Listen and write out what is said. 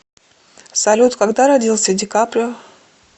салют когда родился ди каприо